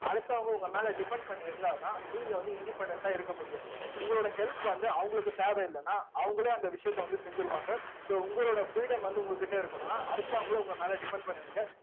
அடுத்தவங்க உங்க மேல depend பண்ணி இருந்தாதான் நீங்க வந்து independent ஆ இருக்க முடியும். உங்களோட help வந்து அவங்களுக்கு தேவையில்லைன்னா அவங்களே அந்த விஷயத்த வந்து செஞ்சிருவாங்க so உங்களோட freedom வந்து உங்க கிட்ட இருக்கணும்ன்னா அடுத்தவங்களை உங்க மேலே depend பண்ணுவீங்க